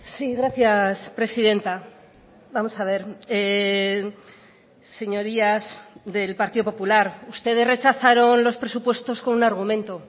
sí gracias presidenta vamos a ver señorías del partido popular ustedes rechazaron los presupuestos con un argumento